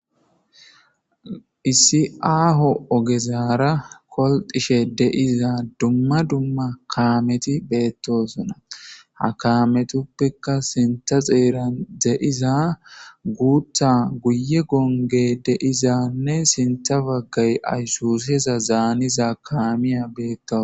issi aaho ogezaara kolxishe deiza dumma dumma kaameti beettosona ha kaametuppeka sintha xeeran de7iza guutha guye gonge deizanne sintha baggay ayssuseza zaaniza kaamiya beettos